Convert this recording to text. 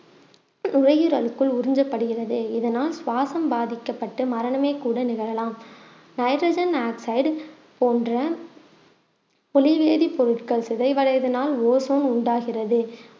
நுரையீரலுக்குள் உறிஞ்சப்படுகிறது இதனால் சுவாசம் பாதிக்கப்பட்டு மரணமே கூட நிகழலாம் நைட்ரஜன் ஆக்சைட் போன்ற பொலிவேதி பொருட்கள் சிதைவடைவதனால் ஓசோன் உண்டாகிறது